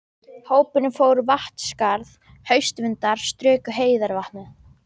Hópurinn fór Vatnsskarð, haustvindar struku heiðarvatnið.